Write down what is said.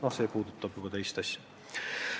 Aga see puudutab juba teist teemat.